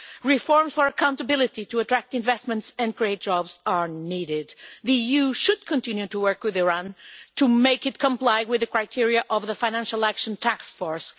Reforms for accountability to attract investments and create jobs are needed. The EU should continue to work with Iran to make it comply with the criteria of the Financial Action Task Force.